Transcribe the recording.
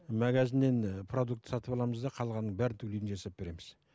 магазиннен ы продукт сатып аламыз да қалғанын бәрін түгел үйде жасап береміз